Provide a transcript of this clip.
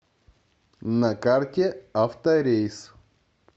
на карте авторейс